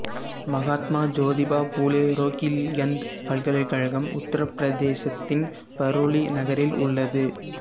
மகாத்மா ஜோதிபா பூலே ரோகில்கந்து பல்கலைக்கழகம் உத்தரப் பிரதேசத்தின் பரெய்லி நகரில் உள்ளது